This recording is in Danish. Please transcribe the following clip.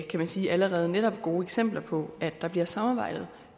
kan man sige allerede netop gode eksempler på at der bliver samarbejdet